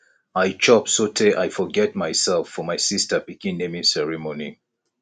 i chop so tey i forget myself for my sister pikin naming ceremony